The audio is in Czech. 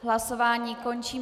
Hlasování končím.